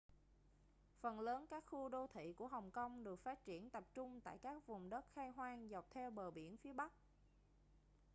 phần lớn các khu đô thị của hồng kông được phát triển tập trung tại các vùng đất khai hoang dọc theo bờ biển phía bắc